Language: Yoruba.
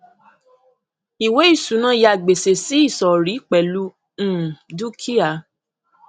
ìwé ìṣúná yà gbèsè sí ìsọrí pẹlú um dúkìá